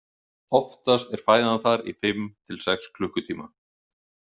Oftast er fæðan þar í fimm til sex klukkutíma.